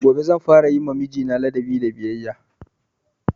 Gobe zan fara yima mijina ladabi da biyayya